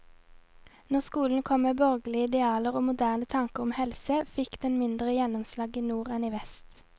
Når skolen kom med borgerlige idealer og moderne tanker om helse, fikk den mindre gjennomslag i nord enn i vest.